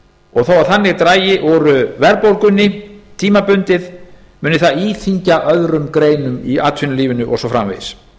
og þó þannig dragi úr verðbólgunni tímabundið muni það íþyngja öðrum greinum í atvinnulífinu og svo framvegis